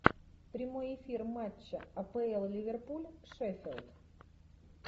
прямой эфир матча апл ливерпуль шеффилд